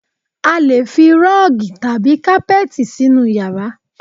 A lè fi rọ́ọ̀gì tàbí kápẹ́tì sínú yàrá